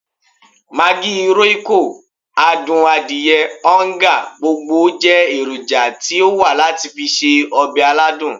Maggi, royco, adun adiye, oonga, gbogbo je eroja ti o wa lati fi se obe aladun.